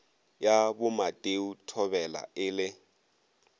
ya bomateo thobela e le